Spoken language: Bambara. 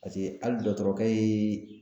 Paseke hali dɔɔtɔrɔkɛ yee